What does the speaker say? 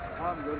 Hə, yaxşıdır.